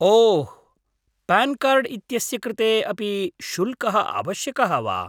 ओह्, PAN card इत्यस्य कृते अपि शुल्कः आवश्यकः वा?